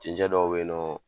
Cɛncɛn dɔw be yen nɔ